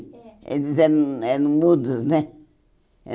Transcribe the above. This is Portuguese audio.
É. Eles eram eram mudos, né?